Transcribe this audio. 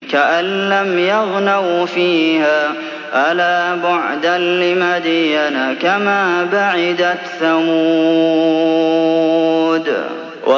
كَأَن لَّمْ يَغْنَوْا فِيهَا ۗ أَلَا بُعْدًا لِّمَدْيَنَ كَمَا بَعِدَتْ ثَمُودُ